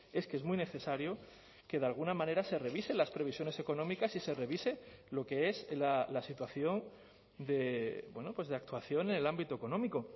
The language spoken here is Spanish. es que es muy necesario que de alguna manera se revisen las previsiones económicas y se revise lo que es la situación de actuación en el ámbito económico